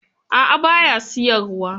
A'a ba ya siyarwa.